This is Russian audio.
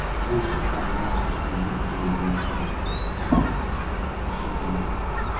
больше там нахуй не буду появляться на пошёл он нахуй